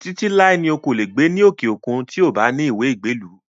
Títí láé ni o kò lè gbé ní òkè òkun tí ó kò bá ní ìwé ìgbélú